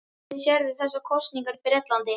Hvernig sérðu þessar kosningar í Bretlandi?